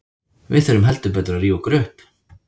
Við þurfum heldur betur að rífa okkur upp.